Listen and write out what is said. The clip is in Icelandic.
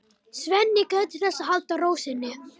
Svenni gætir þess að halda ró sinni.